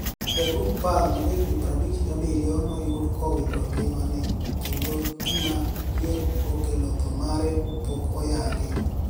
Jaduonig panig ma ja hignii 57 noyudi kowito nigimani e kenido ginia ni e okelo thoo mare pok oyanigi.